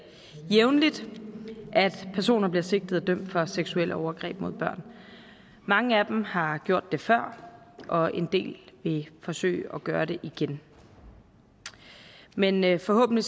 jævnligt at personer bliver sigtet og dømt for seksuelle overgreb mod børn mange af dem har gjort det før og en del vil forsøge at gøre det igen men men forhåbentlig